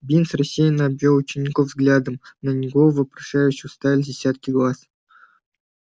бинс рассеянно обвёл учеников взглядом на него вопрошающе уставились десятки глаз